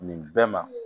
Nin bɛɛ ma